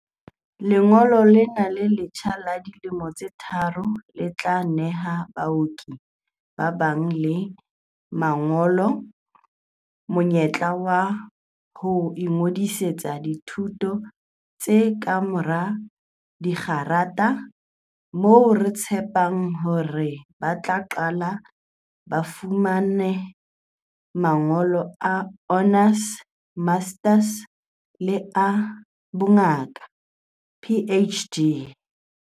"Lengolo lena le letjha la dilemo tse tharo le tla neha baoki ba nang le mangolo monyetla wa ho ingodi-setsa dithuto tsa kamora dikgerata, moo re tshepang hore ba tla qetella ba fumane mangolo a honours, masters le a bongaka, PhD."